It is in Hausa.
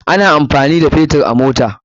Ana amfani da Fetur a mota.